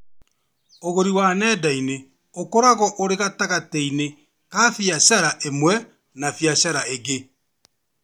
ũgũri wa nenda-inĩ ũkoragwo ũrĩ gatagatĩ ka biacara ĩmwe na biacara ingĩ